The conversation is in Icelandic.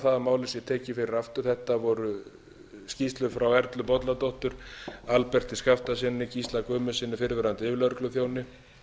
það að málið sé tekið fyrir aftur þetta voru skýrslur frá erlu bolladóttur alberti skaftasyni gísla guðmundssyni fyrrverandi yfirlögregluþjóni